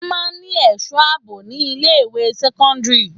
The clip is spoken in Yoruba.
Wọn máa ń ní èso àbò ni ilé ìwé sẹ́kọ́ńdírì.